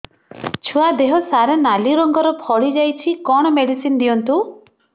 ଛୁଆ ଦେହ ସାରା ନାଲି ରଙ୍ଗର ଫଳି ଯାଇଛି କଣ ମେଡିସିନ ଦିଅନ୍ତୁ